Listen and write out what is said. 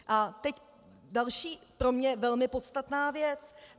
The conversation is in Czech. A teď další, pro mě velmi podstatná věc.